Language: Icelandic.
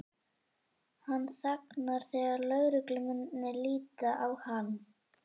Hann þagnar þegar lögreglumennirnir líta á hann.